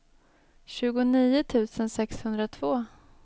tjugonio tusen sexhundratvå